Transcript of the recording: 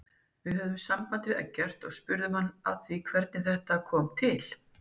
Við höfðum samband við Eggert og spurðum hann að því hvernig þetta kom til?